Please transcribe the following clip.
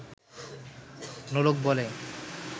নোলক বলে